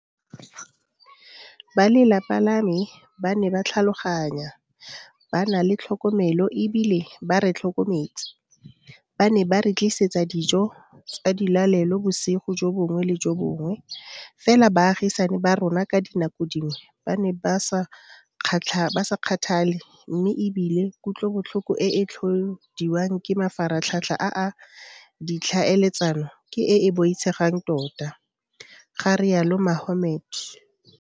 Ba lelapa la me ba ne ba tlhaloganya, ba na le tlhokomelo e bile ba re tlhokometse, ba ne ba re tlisetsa dijo tsa dilalelo bosigo jo bongwe le jo bongwe, fela baagisani ba rona ka dinako dingwe ba ne ba sa kgathale mme e bile kutlobotlhoko e e tlhodiwang ke mafaratlhatlha a ditlhaeletsano ke e e boitshegang tota, ga rialo Mohammed.